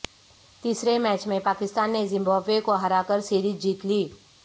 تیسرے میچ میں پاکستان نے زمبابوے کو ہرا کر سیریز جیت لی